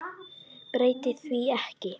Breyti því ekki.